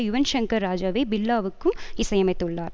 யுவன் ஷங்கர் ராஜாவே பில்லா வுக்கும் இசையமைத்துள்ளார்